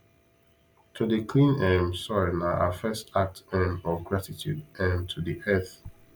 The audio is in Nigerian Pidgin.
to dey clean um soil na our first act um of gratitude um to the earth